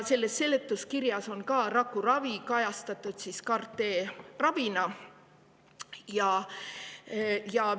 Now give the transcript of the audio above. Seletuskirjas on rakuravi kajastatud CAR-T ravina.